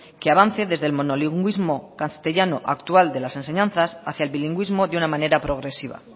que avance desde el monolingüismo castellano actual de las enseñanzas hacia el bilingüismo de una manera progresiva